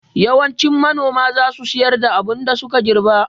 Yawancin manoma za su sayar da abin da suka girɓa